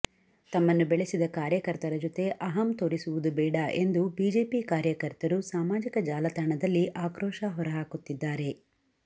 ತಮ್ಮನ್ನು ಬೆಳೆಸಿದ ಕಾರ್ಯಕರ್ತರ ಜೊತೆ ಅಹಂ ತೋರಿಸುವುದು ಬೇಡ ಎಂದು ಬಿಜೆಪಿ ಕಾರ್ಯಕರ್ತರು ಸಾಮಾಜಿಕ ಜಾಲತಾಣದಲ್ಲಿ ಆಕ್ರೋಶ ಹೊರಹಾಕುತ್ತಿದ್ದಾರೆ